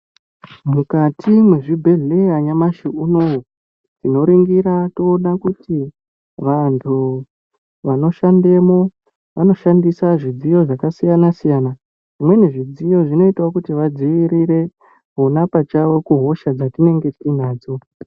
Mukati mwezvibhedheya nyamashi unowu, tinoringira toona kuti, vanhu vanoshandemo, vanoshandisa zvidziyo zvakasiyana-siyana. Zvimweni zvidziyo zvinoitawo kuti vadziirire ona pachawo kuhosha dzatinenge tiinadzo.